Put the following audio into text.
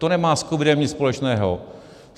To nemá s covidem nic společného.